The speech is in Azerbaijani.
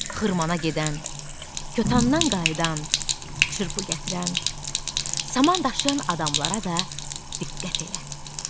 Xırmana gedən, kötandadan qayıdan, çırpı gətirən, saman daşıyan adamlara da diqqət elə.